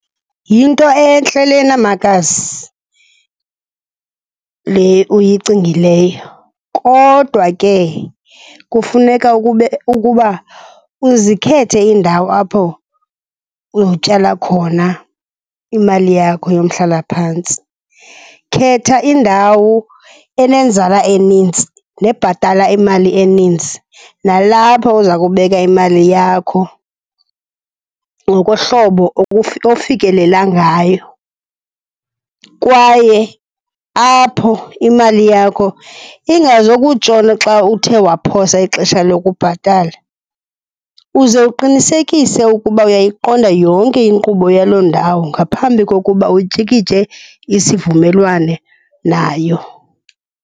Yinto entle lena makazi, le uyicingileyo, kodwa ke kufuneka ukube ukuba uzikhethe iindawo apho uyotyala khona imali yakho yomhlaphantsi. Khetha indawo enenzala eninzi nebhathala imali eninzi, nalapho uza kubeka imali yakho ngokohlobo ofikelela ngayo, kwaye apho imali yakho ingazokutshona xa uthe waphosa ixesha lokubhatala. Uze uqinisekise ukuba uyayiqonda yonke inkqubo yaloo ndawo ngaphambi kokuba utyikitye isivumelwano nayo.